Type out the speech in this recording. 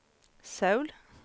Söul